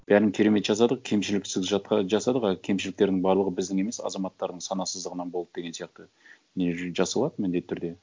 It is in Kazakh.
бәрін керемет жасадық кемшіліксіз жатқа жасадық ы кемшіліктердің барлығы біздің емес азаматтардың санасыздығынан болды деген сияқты не жасалады міндетті түрде